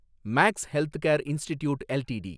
maths healthcare institute LTD